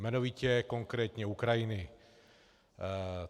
Jmenovitě konkrétně Ukrajiny.